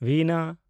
ᱵᱤᱱᱟ